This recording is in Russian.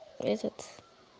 этот